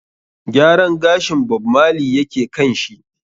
Gyaran gashin Bob Marley yake kan shi.